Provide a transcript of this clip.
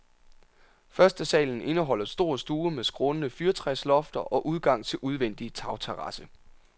Førstesalen indeholder stor stue med skrånende fyrtræslofter og udgang til udvendig tagterrasse.